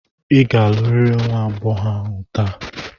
Ị ga-alụrịrị nwa agbọghọ ahụ taa!